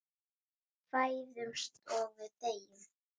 Við fæðumst og við deyjum.